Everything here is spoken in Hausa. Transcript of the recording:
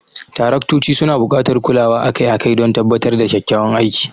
Taraktoci suna buƙatar kulawa akai-akai don tabbatar da kyakkyawan aiki.